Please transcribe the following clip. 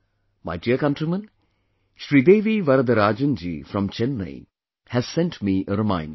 My dear countrymen, Sridevi Varadarajan ji from Chennai has sent me a reminder